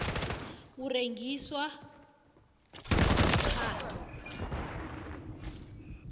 u rengiswa ha